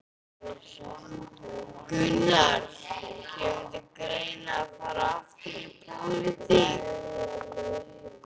Gunnar: Kemur til greina að fara aftur í pólitík?